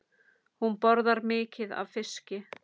Hún borðar mikið af fiski.